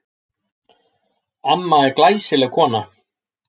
Amma er glæsileg kona.